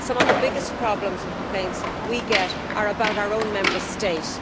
Some of the biggest problems and complaints we get are about our own Member States.